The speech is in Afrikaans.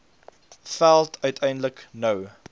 veld uiteindelik nou